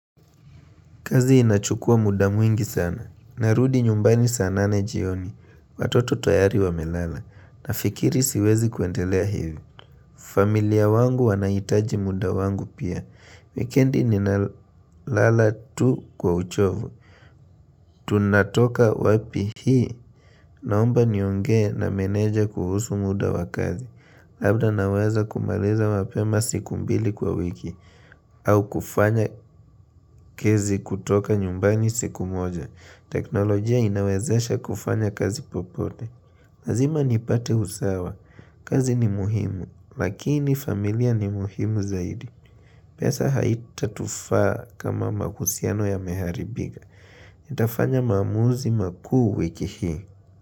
Kazi inachukua muda mwingi sana. Narudi nyumbani saa nane jioni. Watoto tayari wamelala. Nafikiri siwezi kuendelea hivi. Familia wangu wanahitaji muda wangu pia. Weekendi ninalala tu kwa uchovu. Tunatoka wapi hii. Naomba niongee na meneja kuhusu muda wa kazi. Labda naweza kumaliza mapema siku mbili kwa wiki. Au kufanya kazi kutoka nyumbani siku moja. Teknolojia inawezesha kufanya kazi popote. Lazima nipate usawa. Kazi ni muhimu, lakini familia ni muhimu zaidi. Pesa haita tufaa kama mahusiano yameharibika. Itafanya maamuzi makuu weki hii.